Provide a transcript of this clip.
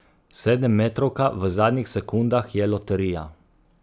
Sedemmetrovka v zadnjih sekundah je loterija.